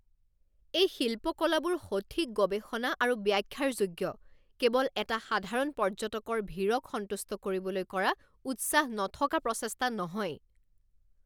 এই শিল্পকলাবোৰ সঠিক গৱেষণা আৰু ব্যাখ্যাৰ যোগ্য, কেৱল এটা সাধাৰণ পৰ্য্যটকৰ ভীৰক সন্তুষ্ট কৰিবলৈ কৰা উৎসাহ নথকা প্ৰচেষ্টা নহয়।